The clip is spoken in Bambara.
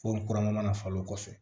Fo kuranko mana falen kɔfɛ